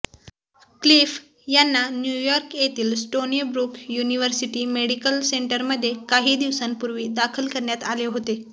Cliff यांना New York येतील Stony Brook University Medical सेंटरमध्ये काही दिवसांपूर्वी दाखल करण्यात आले होते